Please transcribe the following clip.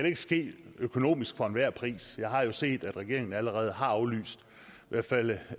ikke ske økonomisk for enhver pris jeg har jo set at regeringen af allerede har aflyst i hvert fald